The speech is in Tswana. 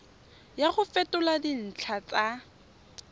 ya go fetola dintlha tsa